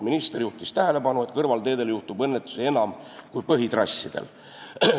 Minister juhtis tähelepanu, et kõrvalteedel juhtub õnnetusi enam kui põhitrassidel.